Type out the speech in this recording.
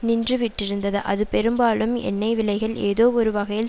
நின்றுவிட்டிருந்தது அது பெரும்பாலும் எண்ணெய்விலைகள் ஏதோ ஒரு வகையில்